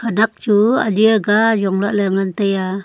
khenek chu ali aaga ajong lah le ngan tai a.